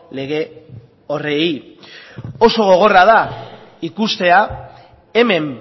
lege horiei oso gogorra da ikustea hemen